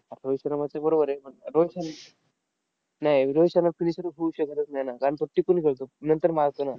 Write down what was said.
आता रोहित शर्माचं बरोबर आहे. पण रोहित शर्मा नाय, रोहित शर्मा finisher होऊच शकतच नाही ना. कारण तो टिकून खेळतो. नंतर मारतो ना.